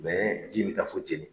ji in mi taa fo Djéné.